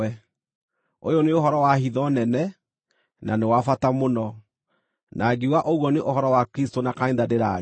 Ũyũ nĩ ũhoro wa hitho nene, na nĩ wa bata mũno, na ngiuga ũguo nĩ ũhoro wa Kristũ na kanitha ndĩraria.